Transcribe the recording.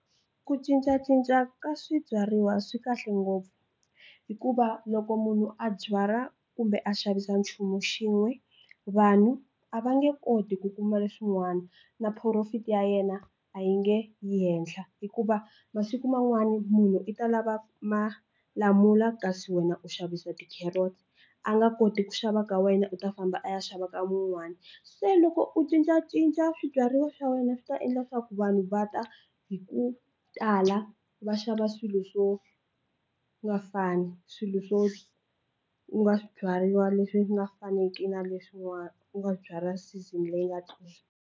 Ku cincacinca ka swibyariwa swi kahle ngopfu hikuva loko munhu a byala kumbe a xavisa nchumu xin'we vanhu a va nge koti ku kuma leswin'wana na profit ya yena a yi nge yi henhla hikuva masiku man'wani munhu i ta lava malamula kasi wena u xavisa ti carrots a nga koti ku xava ka wena u ta famba a ya xava ka mun'wani se loko u cincacinca swibyariwa swa wena swi ta endla swaku vanhu va ta hi ku ku tala va xava swilo swo nga fani swilo swo u nga swibyariwa leswi nga faneki na leswi n'wana u nga swi byala season leyi nga tlula.